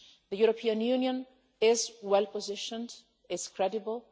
The European Union is well positioned, and is credible.